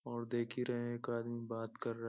और देख ही रहे हैं एक आदमी बात कर --